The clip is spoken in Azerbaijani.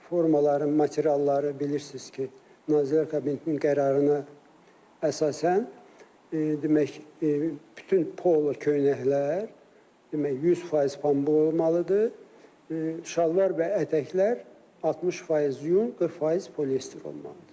Formaların materialları bilirsiz ki, Nazirlər Kabinetinin qərarına əsasən demək, bütün polo köynəklər demək, 100% pambıq olmalıdır, şalvar və ətəklər 60% yun, 40% polyester olmalıdır.